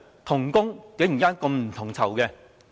同工竟然不同酬。